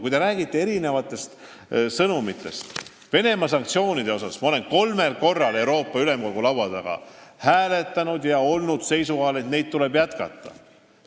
Kui te räägite erinevatest sõnumitest, siis Venemaa-vastaste sanktsioonide üle olen ma kolmel korral Euroopa Ülemkogu laua taga hääletanud ja olnud seisukohal, et neid tuleb jätkata.